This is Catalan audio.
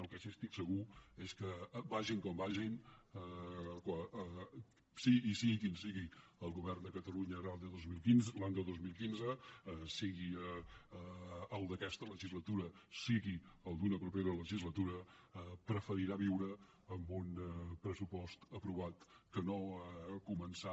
del que sí estic segur és que vagin com vagin i sigui quin sigui el govern de catalunya l’any dos mil quinze sigui el d’aquesta legislatura sigui el d’una propera legislatura preferirà viure amb un pressupost aprovat que no començar